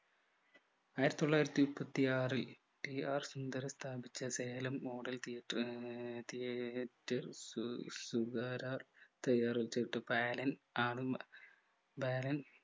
ആയിരത്തിത്തൊള്ളായിരത്തിമുപ്പത്തിയാറിൽ T R Sundaran സ്ഥാപിച്ച Salem model theatre ആഹ് theatre സു സുഗര ആണ്